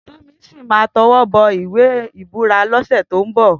Tomisin má tèwòbò iwé ibúrà lòsè tó n bò